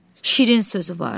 Şirin sözü var.